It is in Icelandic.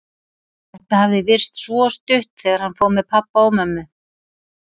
Þetta hafði virst svo stutt þegar hann fór með pabba og mömmu.